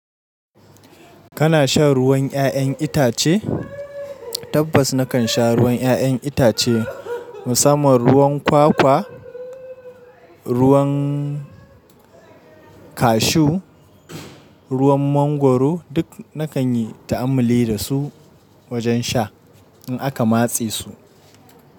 Kana shan ruwan 'ya'yan itace? Tabbas nakan sha ruwan 'ya'yan itace, musamman ruwan kwakwa, ruwan cashew, ruwan mangwaro duk nakan yi ta'ammali da su wajen sha in aka matse su.